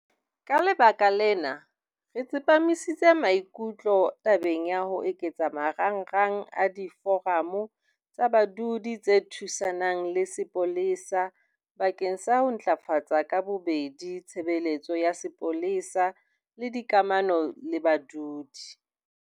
Ka lebaka lena, re tsepamisitse maikutlo tabeng ya ho eketsa marangrang a Diforamo tsa Badudi tse Thusanang le Sepolesa bakeng sa ho ntlafatsa ka bobedi tshebeletso ya sepolesa le dikamano le badudi.